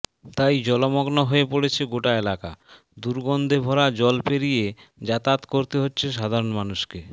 তাই জলমগ্ন হয়ে পড়েছে গোটা এলাকা দুর্গন্ধে ভরা জল পেরিয়ে যাতায়াত করতে হচ্ছে সাধারণ মানুষকে